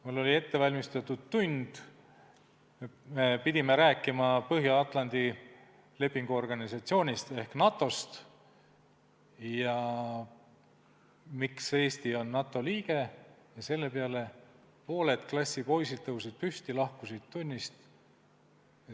Mul oli ette valmistatud tund, me pidime rääkima Põhja-Atlandi Lepingu Organisatsioonist ehk NATO-st ja sellest, miks Eesti on NATO liige, selle peale aga tõusid pooled klassi poisid püsti ja lahkusid tunnist.